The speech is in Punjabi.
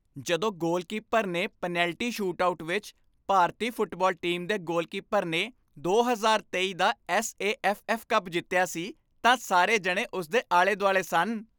ਜਦੋਂ ਗੋਲਕੀਪਰ ਨੇ ਪੈਨਲਟੀ ਸ਼ੂਟਆਊਟ ਵਿੱਚ ਭਾਰਤੀ ਫੁੱਟਬਾਲ ਟੀਮ ਦੇ ਗੋਲਕੀਪਰ ਨੇ ਦੋ ਹਜ਼ਾਰ ਤੇਈ ਦਾ S A F F cup ਜਿੱਤਿਆ ਸੀ, ਤਾਂ ਸਾਰੇ ਜਣੇ ਉਸ ਦੇ ਆਲੇ ਦੁਆਲੇ ਸਨ